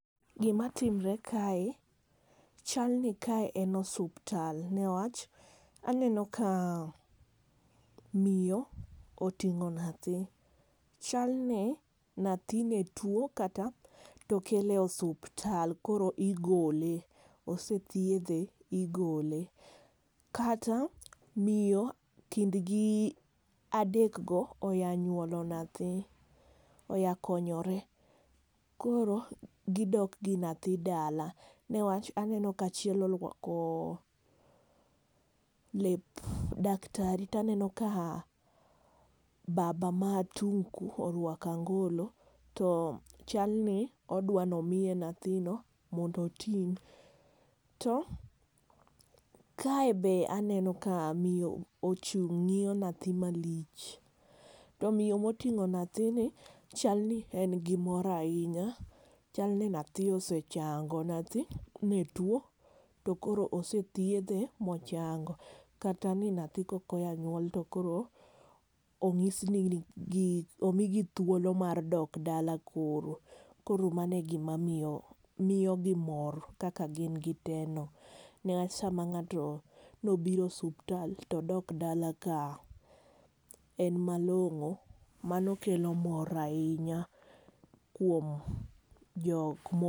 Gima timore kae, chalni kae en osuptal, newach, aneno ka miyo oting'o nyathi. Chalni nyathi netwo kata, to okele osuptal koro igole. Osethiedhe igole. Kata miyo, kindgi adekgo oya nyuolo nyathi, oyakonyore. Koro gi dokgi nyathi dala, newach aneno ka achiel orwako lep daktari. To aneno ka baba ma tung' ku orwako angolo. To chalni odwani omiye nyathino mondo oting'. To kae be aneno ka miyo ochung' ng'iyo nyathi malich. To miyo moting'o nyathini, chalni en gimor ahinya. Chalni nyathi osechango, nyathi, netwo to koro osethiedhe mochango. Kata ni nyathi koka oya nyuol to koro ong'isgi ni, omi gi thuolo mar dok dala koro. Koro mano e gima miyo miyo gi mor kaka gin giteno. Newach sama ng'ato nobiro osuptal to odok dala ka en malong'o mano kelo mor ahinya kuom jok mo